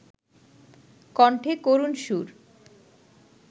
কণ্ঠে করুণ সুর